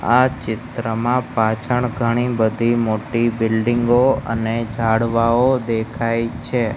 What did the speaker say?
આ ચિત્રમાં પાછળ ઘણી બધી મોટી બિલ્ડિંગ ઓ અને ઝાડવાઓ દેખાય છે.